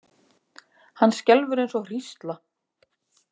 Hann skelfur eins og hrísla.